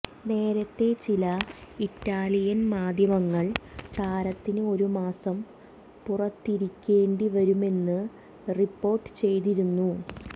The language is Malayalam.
നേരത്തെ ചില ഇറ്റാലിയൻ മാധ്യമങ്ങൾ താരത്തിന് ഒരു മാസം പുറത്തിരിക്കേണ്ടിവരുെമന്ന് റിപ്പോർട്ട് ചെയ്തിരുന്നു